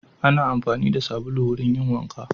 Ana amfani da sabulu wurin yin wanka.